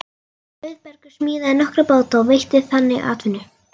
Auðbergur smíðaði nokkra báta og veitti þannig atvinnu.